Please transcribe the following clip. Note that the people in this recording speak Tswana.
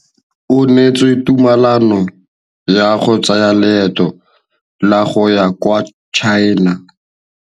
O neetswe tumalanô ya go tsaya loetô la go ya kwa China.